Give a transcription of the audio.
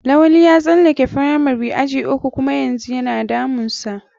Lawali ya tsalake firamari aji uku kuma yanzu yana damun sa.